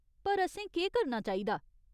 पर, असें केह् करना चाहिदा ?